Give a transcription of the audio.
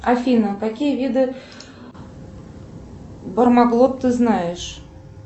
афина какие виды бармаглот ты знаешь